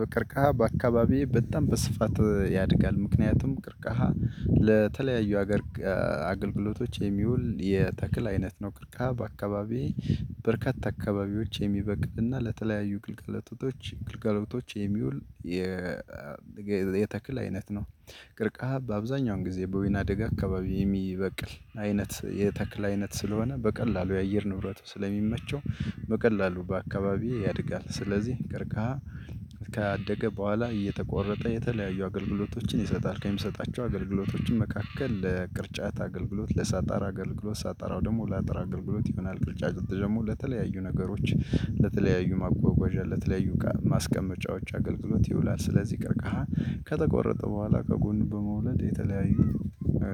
በቅርቃሃ በአካባቢዬ በጣም በስፋት ያድጋል ምክንያቱም ቅርቃሃ ለተለያዩ ሀገር አገልግሎቶች የሚውል የተክል አይነት ነው። ቅርቃ በአካባቢየ በርካታ አካባቢዎች የሚበቅልና ለተለያዩ ግልጋሎቶች ግልጋሎቶች የሚውል የተክል አይነት ነው። ቅርቃ በአብዛኛውን ጊዜ በወይና ደጋ አካባቢ የሚበቅል አይነት የተክል አይነት ስለሆነ በቀላሉ የአየር ንብረት ስለሚመቸው በቀላሉ በአካባቢዬ ያድጋል። ስለዚህ ቀርቃሃ ካደገ በኋላ እየተቆረጠ የተለያዩ አገልግሎቶችን ይሰጣል ከምሰጣቸው አገልግሎቶችም መካከል ለቅርጫት አገልግሎት ለሳጣር አገልግሎት ሳጣራው ደግሞ ለአጥር አገልግሎት ይሆናል። ቅርጫት ደግሞ ለተለያዩ ነገሮች ለተለያዩ ማጓጓዣ ለተለያዩ እቃ ማስቀመጫዎች አገልግሎት ይውላል። ስለዚህ ቀርቃሃ ከተቆረጠ በኋላ ከጎን በመውለድ የተለያዩ